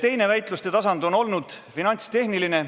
Teine väitluste tasand on olnud finantstehniline.